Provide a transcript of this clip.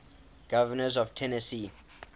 governors of tennessee